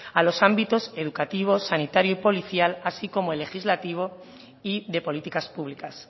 a los ámbitos educativo sanitario y policial así como el legislativo y de políticas públicas